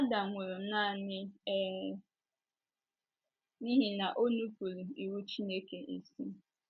Adam nwụrụ nanị um n’ihi na o nupụụrụ iwu Chineke isi..